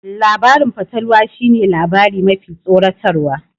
Labarin fatalwa shi ne labari mafi tsoratarwa